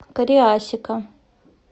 кариасика